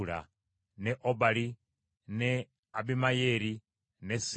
ne Obali, ne Abimayeeri, ne Seeba,